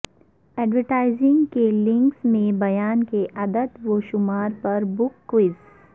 advertising کے links میں بیان کے اعداد و شمار پر بگ کوئز